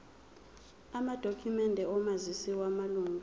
amadokhumende omazisi wamalunga